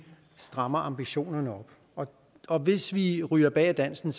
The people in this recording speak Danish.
strammer ambitionerne op og og hvis vi ryger bag af dansen